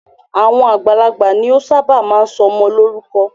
Àwọn àgbà ni o ṣábà máa ń sọ ọmọ lórúkọ.